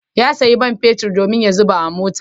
Ya sayo man fetur domin ya zuba a mota.